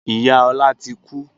Ìyá Ọlá ti kú